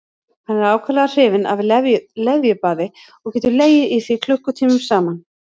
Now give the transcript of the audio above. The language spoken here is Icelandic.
Hann er ákaflega hrifinn af leðjubaði og getur legið í því klukkutímum saman.